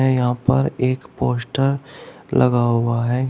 है यहां पर एक पोस्टर लगा हुआ है।